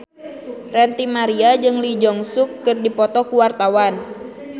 Ranty Maria jeung Lee Jeong Suk keur dipoto ku wartawan